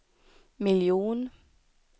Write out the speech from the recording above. miljon